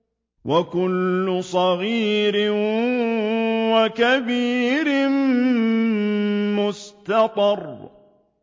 وَكُلُّ صَغِيرٍ وَكَبِيرٍ مُّسْتَطَرٌ